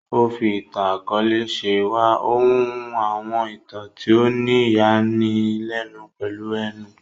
O fí ìtàn-akọọlẹ ṣe wá, o hun àwọn ìtàn tí o ni ìyani lénu pèlú ẹnu.